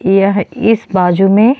ई यह इस बाजु में --